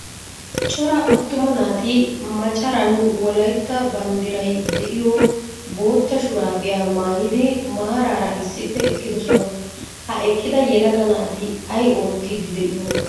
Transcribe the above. Cora attuma naati macaran wolaytta banddiray de"iyoo bootta shuraabiya maayidi maaraara issippe eqqidosona. Ha eqqida yelaga naati ay oottiiddi de"iyoonaa?